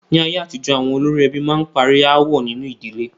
Ní ayé àtijọ́, àwọn olórí ẹbí a máa parí aáwọ̀ nínu ìdílé.